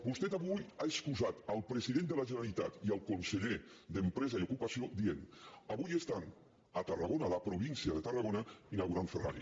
vostè avui ha excusat el president de la generalitat i el conseller d’empresa i ocupació dient avui estan a tarragona a la província de tarragona inaugurant ferrari